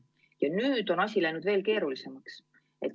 Ja nüüd on asi läinud veel keerulisemaks.